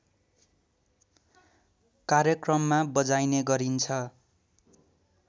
कार्यक्रममा बजाइने गरिन्छ